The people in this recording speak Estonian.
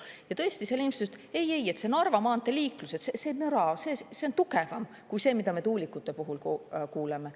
Ja tõesti, seal inimesed ütlesid, et see Narva maantee liikluse müra on tugevam kui see, mida me tuulikute puhul kui kuuleme.